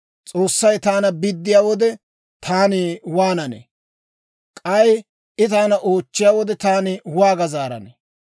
S'oossay taana biddiyaa wode, taani waananee? K'ay I taana oochchiyaa wode, taani waaga zaaranee?